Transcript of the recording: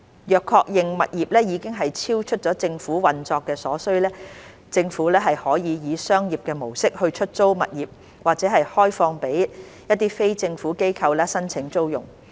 若確認物業已經超出政府運作所需，政府可以商業模式出租物業或開放予非政府機構申請租用。